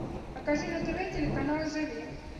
покажи на тв телеканал живи